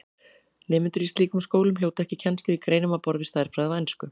Nemendur í slíkum skólum hljóta ekki kennslu í greinum á borð við stærðfræði og ensku.